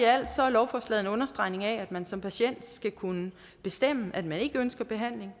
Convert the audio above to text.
lovforslaget en understregning af at man som patient skal kunne bestemme at man ikke ønsker behandling